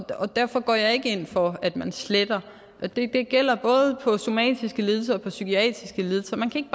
og derfor går jeg ikke ind for at man sletter og det gælder både for somatiske lidelser og for psykiatriske lidelser man kan